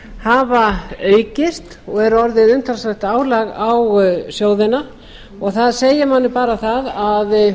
hafa aukist og eru orðið umtalsvert álag á sjóðina og það segir manni bara það að